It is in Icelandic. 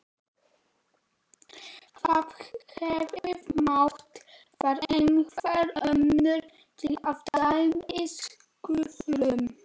Það hefði mátt vera einhver önnur, til dæmis Guðrún.